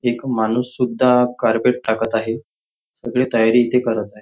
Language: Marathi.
एक माणूस सुद्धा कार्पेट टाकत आहे सगळी तयारी इथे करत आहेत.